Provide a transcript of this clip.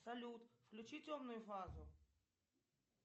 салют включи темную фазу